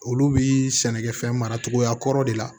Olu bi sɛnɛkɛfɛn maracogoya kɔrɔ de la